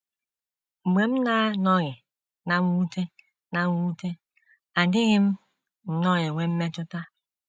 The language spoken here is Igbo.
Mgbe m na - anọghị ná mwute ná mwute, adịghị m nnọọ enwe mmetụta.